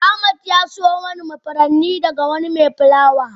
Ahmed ya siyo mani furanni daga wani mai fulawa.